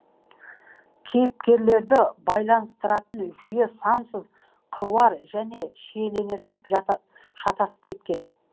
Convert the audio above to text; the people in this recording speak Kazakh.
кейіпкерлерді байланыстыратын жүйе сансыз қыруар және шиеленісіп шатысып кеткен